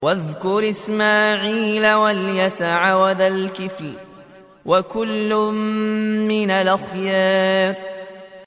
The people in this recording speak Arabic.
وَاذْكُرْ إِسْمَاعِيلَ وَالْيَسَعَ وَذَا الْكِفْلِ ۖ وَكُلٌّ مِّنَ الْأَخْيَارِ